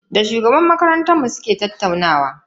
Da shugaban makaranta muka tattauna.